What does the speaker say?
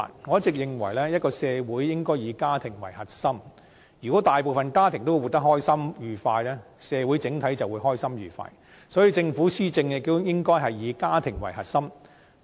我一直認為，一個社會應該以家庭為核心，如果大部分家庭生活得開心愉快，社會整體就會開心愉快，所以政府施政應該以家庭為核心。